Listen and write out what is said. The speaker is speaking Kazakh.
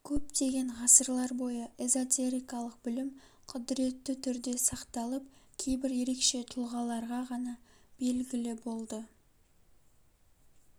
көптеген ғасырлар бойы эзотерикалык білім құдіретті түрде сақталып кейбір ерекше тұлғаларға ғана белгілі болды